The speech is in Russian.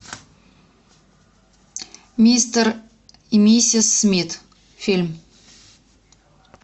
мистер и миссис смит фильм